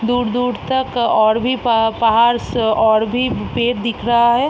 दूर-दूर तक और भी प-पहाड़ और और भी पेड़ दिख रहा है।